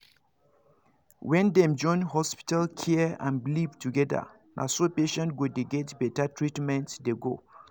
when dem join hospital care and belief together naso patients go dey get better treatment dey go